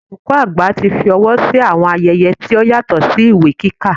Olùkọ́ àgbà tí fọwọ́ sí àwọn ayẹyẹ tó yàtọ̀ sí ìwé kíkà.